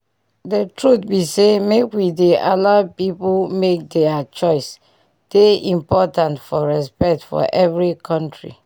d truth be say make we dey allow pipu make dier choice dey important for respect for every kontri